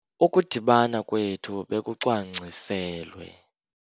Ukudibana kwethu bekucwangciselwe.